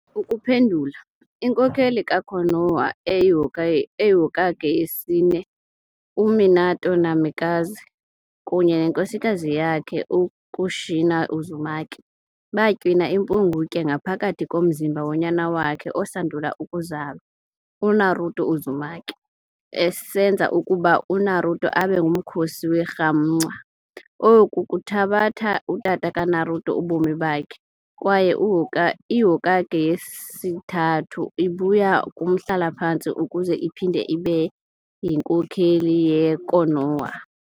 Ukuphendula, inkokheli ka-Konoha oyiHokage yesine, u-Minato Namikaze, kunye nenkosikazi yakhe u-Kushina Uzumaki, batywina impungutye ngaphakathi komzimba wonyana wakhe osandul ukuzalwa, u-Naruto Uzumaki, esenza ukuba u-Naruto abe ngumkhosi werhamncwa, oku kuthabatha utata ka-Naruto ubomi bakhe, kwaye iHokage yesiThathu ibuya kumhlala-phantsi ukuze iphinde ibe yinkokheli yeKonoha.